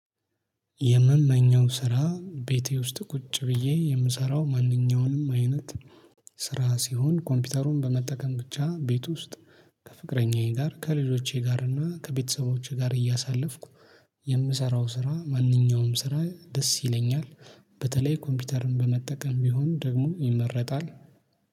የምመኘው ስራ ቤቴ ውስጥ ቁጭ ብዬ የምሰራው ማንኛውንም አይነት ስራ ሲሆን ኮምፒውተሩን በመጠቀም ብቻ ቤት ውስጥ ከፍቅረኛዬ ጋር ከልጆቼ ጋር እና ከቤተሰቦቼ ጋር እያሳለፍኩ የምሰራው ስራ ማንኛውም ስራ ደስ ይለኛል። በተለይ ኮምፒውተርን በመጠቀም ቢሆን ደግሞ ይመረጣል